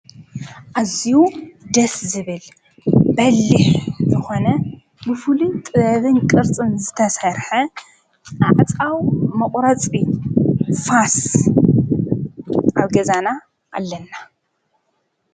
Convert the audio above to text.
ኣዝዩ ደስ ዝብል በሊሕ ዝኾነ ብፉሉይ ጥበብን ቅርጽን ዝተሰርሐ ኣዕፃው መቝረፂ ፋስ ኣብ ገዛና ኣለና።